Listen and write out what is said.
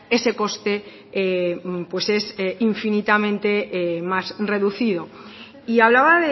ese coste pues es infinitamente más reducido y hablaba